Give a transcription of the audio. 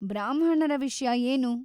ಬ್ರಾಹ್ಮಣರ ವಿಷ್ಯ ಏನು?